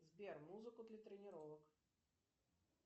сбер музыку для тренировок